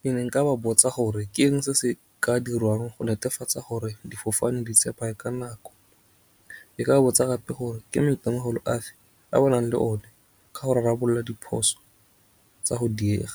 Ke ne nka ba botsa gore ke eng se se ka dirwang go netefatsa gore difofane di ka nako. Ke ka botsa gape gore ke maitemogelo afe a ba nang le one ka go rarabolola diphoso tsa go diega.